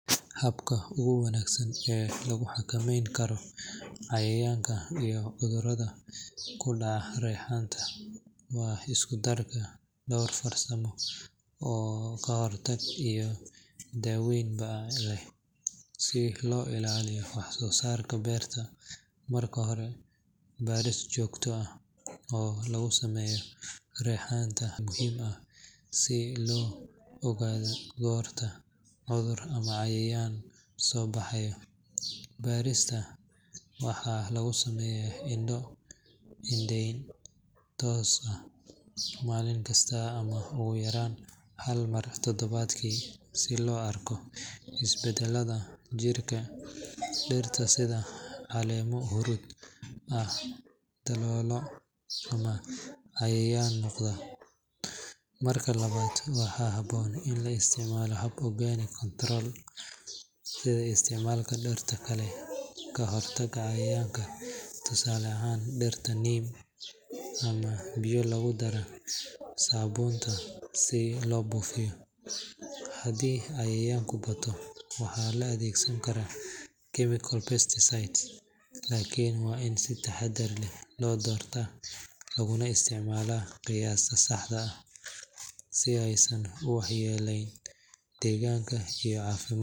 Habka ugu wanaagsan ee lagu xakameyn karo cayayaanka iyo cudurrada ku dhaca reexaanta waa isku darka dhowr farsamo oo ka hortag iyo daaweynba leh si loo ilaaliyo waxsoosaarka beerta. Marka hore, baaris joogto ah oo lagu sameeyo reexaanta ayaa muhiim ah si loo ogaado goorta cudur ama cayayaan soo baxayo. Baarista waxaa lagu sameeyaa indho-indheyn toos ah maalin kasta ama ugu yaraan hal mar toddobaadkii si loo arko isbeddelada jirka dhirta sida caleemo huruud ah, daloolo, ama cayayaan muuqda. Marka labaad, waxaa habboon in la isticmaalo hab organic control sida isticmaalka dhirta kale ee ka hortagta cayayaanka, tusaale ahaan dhirta neem ama biyo lagu daray saabuunta si loo buufiyo. Haddii cayayaanku bato, waxaa la adeegsan karaa chemical pesticides, laakiin waa in si taxadar leh loo doortaa laguna isticmaalaa qiyaasta saxda ah si aysan u waxyeelayn deegaanka iyo caafimaadka.